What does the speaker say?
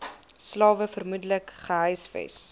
slawe vermoedelik gehuisves